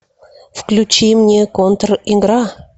включи мне контр игра